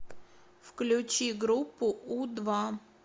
включи группу у два